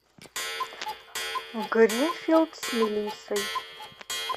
гринфилд с мелиссой